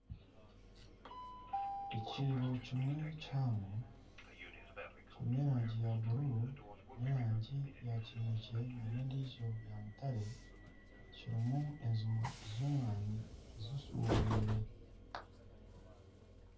Ekiibo kimwe kihango kirimu eraangi ya buruuru nana erangi ya kineekye nana endiijo yaamutare kirimu enjuma z'omwana zishubwire